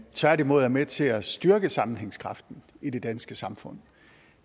tværtimod er med til at styrke sammenhængskraften i det danske samfund